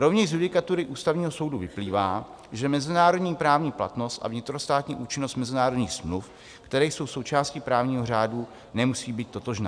Rovněž z judikatury Ústavního soudu vyplývá, že mezinárodní právní platnost a vnitrostátní účinnost mezinárodních smluv, které jsou součástí právního řádu, nemusí být totožná.